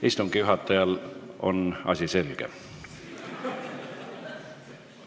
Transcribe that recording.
Istungi juhatajale on asi selge.